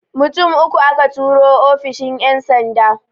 Mutum uku aka turo ofishin ƴan sanda